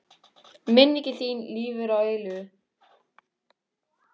Minning þín lifir að eilífu.